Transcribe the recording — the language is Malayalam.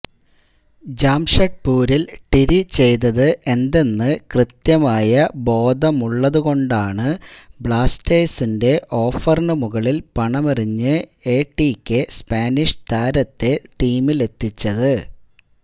ജംഷഡ്പൂരിൽ ടിരി ചെയ്തത് എന്തെന്ന് കൃത്യമായ ബോധമുള്ളതു കൊണ്ടാണ് ബ്ലാസ്റ്റേഴ്സിൻ്റെ ഓഫറിനു മുകളിൽ പണമെറിഞ്ഞ് എടികെ സ്പാനിഷ് താരത്തെ ടീമിലെത്തിച്ചത്